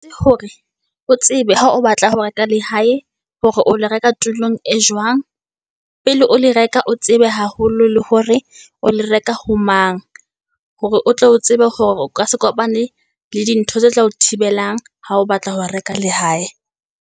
Hore o tsebe ha o batla ho reka lehae hore o lo reka tulong e jwang pele o le reka. O tsebe haholo le hore o lo reka ho mang, hore o tle o tsebe hore o ka se kopane le di ntho tse tla o thibelang ha o batla ho reka lehae.